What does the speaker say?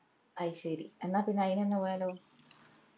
അയ്‌ശേരി എന്നാ പിന്ന ആയിനങ് പോയാലോ